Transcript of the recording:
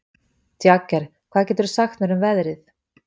Jagger, hvað geturðu sagt mér um veðrið?